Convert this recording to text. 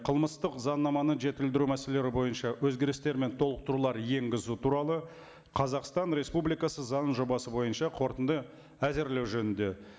қылмыстық заңнаманы жетілдіру мәселелері бойынша өзгерістер мен толықтырулар енгізу туралы қазақстан республикасы заңының жобасы бойынша қорытынды әзірлеу жөнінде